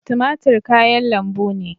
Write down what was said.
Tumatur kayan lambu ne.